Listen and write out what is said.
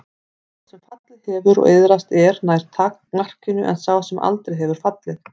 Sá sem fallið hefur og iðrast er nær markinu en sá sem aldrei hefur fallið.